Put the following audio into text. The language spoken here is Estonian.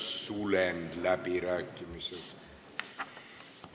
Sulgen läbirääkimised.